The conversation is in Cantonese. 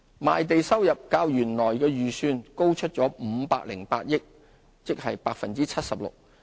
賣地收入較原來預算高508億元，即 76%。